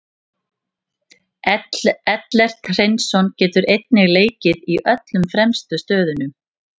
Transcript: Ellert Hreinsson getur einnig leikið í öllum fremstu stöðunum.